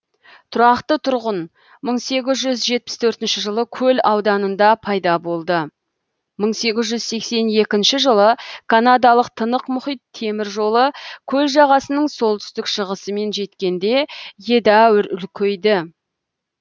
тұрақты тұрғын жылы көл ауданында пайда болды жылы канадалық тынық мұхит темір жолы көл жағасының солтүстік шығысымен жеткенде едәуір үлкейді